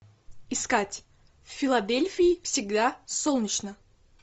искать в филадельфии всегда солнечно